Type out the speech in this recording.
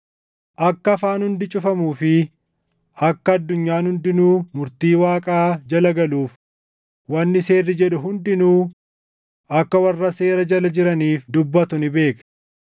Akka afaan hundi cufamuu fi akka addunyaan hundinuu murtii Waaqaa jala galuuf, wanni seerri jedhu hundinuu akka warra seera jala jiraniif dubbatu ni beekna.